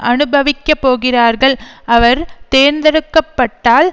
அனுபவிக்கப்போகிறார்கள் அவர் தேர்ந்தெடுக்க பட்டால்